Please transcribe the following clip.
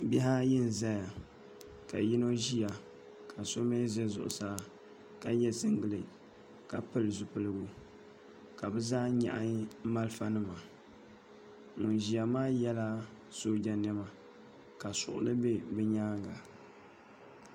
Bihi ayi n ʒɛya ka yino ʒiya ka so mii ʒɛ zuɣusaa ka yɛ singirɛt ka pili zipiligu ka bi zaa nyaɣi marafa nima ŋun ʒiya maa yɛla sooja niɛma ka suɣli bɛ bi nyaanga